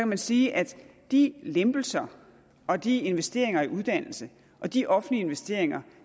man sige at de lempelser og de investeringer i uddannelse og de offentlige investeringer